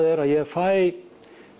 er að ég fæ